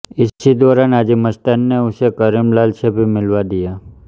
इसी दौरान हाजी मस्तान ने उसे करीम लाला से भी मिलवा दिया